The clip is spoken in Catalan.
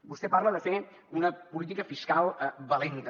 vostè parla de fer una política fiscal valenta